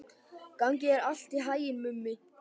Gangi þér allt í haginn, Mummi.